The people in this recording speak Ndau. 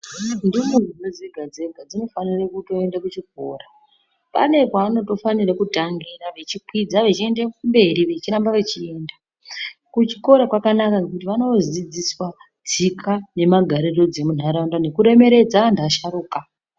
Ndumurwa dzega dzega dzino fanire kuto ende ku chikora pane paanoto fanire kutangira vechi kwidza vechi ende kumberi vechi ramba vechi enda ku chikora kwanaka ngekuti vano dzidziswa tsika ne magariro dze mundaraunda neku remeredza anhu asharuka.